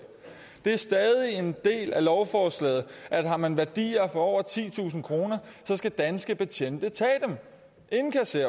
det er stadig en del af lovforslaget at har man værdier for over titusind kr skal danske betjente tage